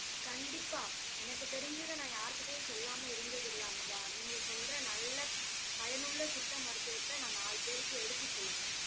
கண்டிப்பா எனக்கு தெரிஞ்சதை நான் யார்கிட்டயும் சொல்லாம இருந்ததில்லை அமுதா. நீங்க சொல்ற நல்ல பயனுள்ள சித்த மருத்துவத்தை நான் நாலு பேருக்கு எடுத்து சொல்றேன்